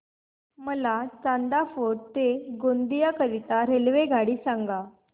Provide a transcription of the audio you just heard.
मला चांदा फोर्ट ते गोंदिया करीता रेल्वेगाडी सांगा